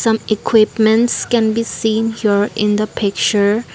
Some equipments can be seen here in the picture.